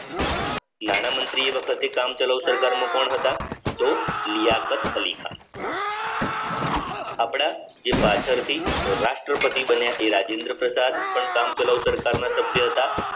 નાણામંત્રી એ વખતે કામ ચાલુ સરકારમાં કોણ હતા? તો લાકત અલી ખાન આપણા જે પાછળથી રાષ્ટ્રપતિ બન્યા એ રાજેન્દ્ર પ્રસાદ પણ કામ ચલાઉ સરકારના સભ્ય હતા